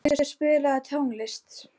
Auður, spilaðu tónlist.